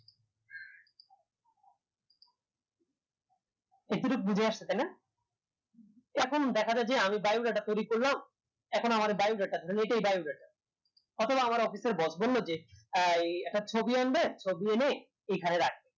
এই টুকু বুঝিয়াছো তাইনা এখন দেখা যাই যে আমি biodata তৈরী করলাম এখন আমার biodata এটাই তখন আমার office এর boss বললো যে আহ এই একটা ছবি আনবে ছবি এনে এখানে রাখবে